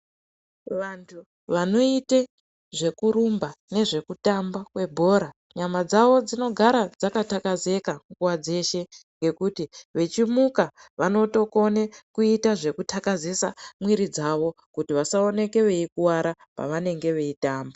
Vantu vanoite zvekurumba nezvekutamba kwebhora ,nyama dzawo dzinogara dzakatakazeka nguva dzeshe nekuti vechimuka vanotokone kuita zvekutakazisisa mwiri dzavo kuti vasaoneke veikwara pavanenge veitamba.